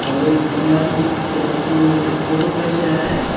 और एक बंदा अपनी पिक्च पि फोटो खींच रहा है और --